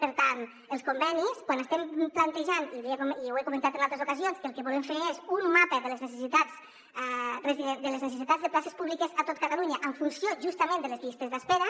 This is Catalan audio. per tant els convenis quan estem plantejant i ho he comentat en altres ocasions que el que volem fer és un mapa de les necessitats de places públi·ques a tot catalunya en funció justament de les llistes d’espera